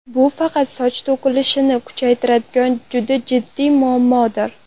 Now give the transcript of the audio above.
Bu faqat soch to‘kilishini kuchaytiradigan juda jiddiy muammodir.